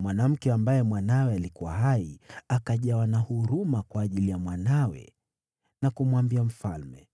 Mwanamke ambaye mwanawe alikuwa hai akajawa na huruma kwa ajili ya mwanawe na kumwambia mfalme,